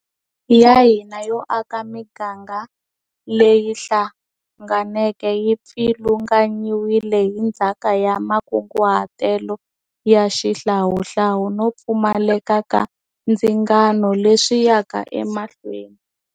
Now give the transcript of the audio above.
Ya hina yo aka miganga leyi hlanganeke yi pfilunganyiwile hi ndzhaka ya makunguhatelo ya xihlawuhlawu no pfumaleka ka ndzingano leswi yaka emahlweni.